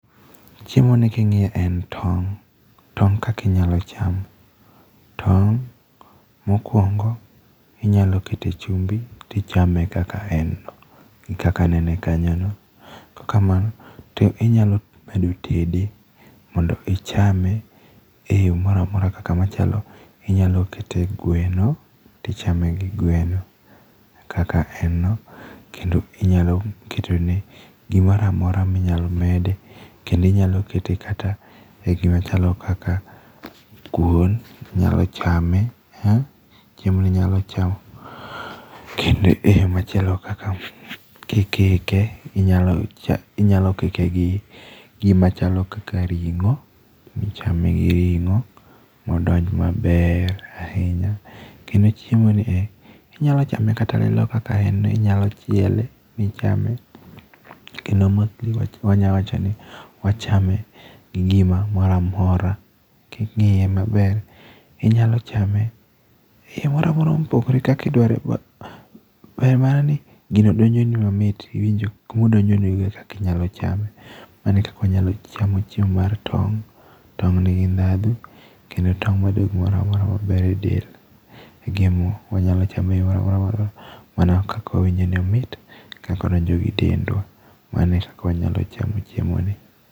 Chiemoni king'iye en tong', tong' kaka inyalo cham, tong' mokuongo inyalo ketie chumbi to ichame kaka en no, kaka anene kanyo. Kaok kamano to inyalo medo tede mondo ichame eyo moro amora kaka machalo inyalo kete gweno to ichame gi gweno, kaka en no, kendo inyalo ketone gimoro amora minyalo mede kendo inyalo keto kata gimoro machalo kaka kuon inyalo chame , chiemo ni inyalo chamo kendo e yo machielo kaka kikike , inyalo kike gi gimachalo kaka ring'o ichame gi ring'o mondo odonj maber ahinya. Kendo chiemoni e inyalo chame kata lilo kaka en ni chiele michame. Kendo gima wanyawacho ni wachame gi gimoro amora king'iye maber inyalo chame gi gimoro amora mopogore gi kaka idwaro ber mana ni gino donjoni mamit, iwinjo kuma odonjonigo ekaka inyalo chame. Mano e kaka wanyalo chamo chiemo mar tong'. Tong' nigi ndhadhu kendo tong' medo gimoro amora maber edel, e gima wanyalo chame eyoo moro amora mawadwaro mana kaka wawinkjo ni omit, kaka odonjo gi dendwa. Mano e kaka wanyalo chamo chiemoni.